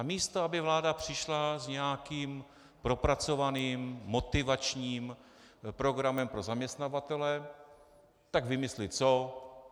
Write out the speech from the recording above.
A místo aby vláda přišla s nějakým propracovaným motivačním programem pro zaměstnavatele, tak vymyslí co?